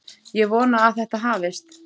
Ég vona að þetta hafist.